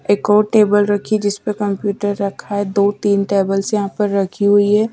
एक और टेबल रखी जिस पर कंप्यूटर रखा है दो-तीन टेबल्स यहाँ पर रखी हुई है।